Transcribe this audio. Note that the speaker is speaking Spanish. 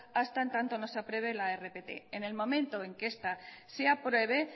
hasta en tanto no se apruebe la rpt en el momento en que esta se apruebe